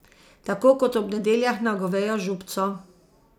Tako kot ob nedeljah na govejo župco.